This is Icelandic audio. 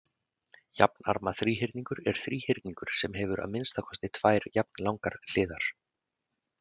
Jafnarma þríhyrningur er þríhyrningur sem hefur að minnsta kosti tvær jafnlangar hliðar.